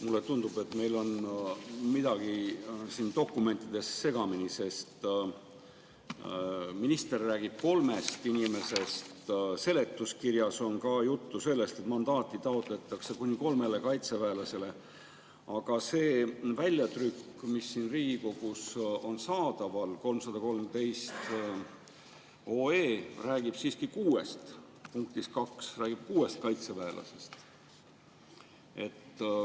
Mulle tundub, et meil on midagi siin dokumentides segamini, sest minister räägib kolmest inimesest, seletuskirjas on ka juttu sellest, et mandaati taotletakse kuni kolmele kaitseväelasele, aga see väljatrükk, mis siin Riigikogus on saadaval, 313 OE, räägib punktis 2 siiski kuuest kaitseväelasest.